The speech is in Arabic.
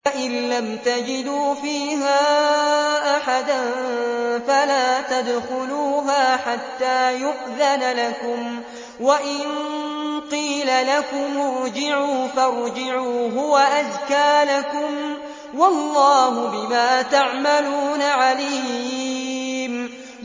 فَإِن لَّمْ تَجِدُوا فِيهَا أَحَدًا فَلَا تَدْخُلُوهَا حَتَّىٰ يُؤْذَنَ لَكُمْ ۖ وَإِن قِيلَ لَكُمُ ارْجِعُوا فَارْجِعُوا ۖ هُوَ أَزْكَىٰ لَكُمْ ۚ وَاللَّهُ بِمَا تَعْمَلُونَ عَلِيمٌ